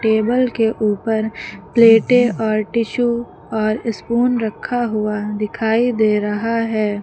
Table के ऊपर प्लेटें और टिशू और स्पून रखा हुआ दिखाई दे रहा है।